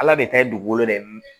Ala de ta ye dugukolo de ye